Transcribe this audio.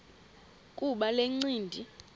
kuba le ncindi